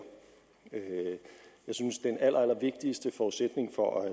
jeg synes at den allerallervigtigste forudsætning for at